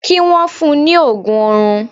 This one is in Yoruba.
Kí wọ́n fun ní òògùn oorun.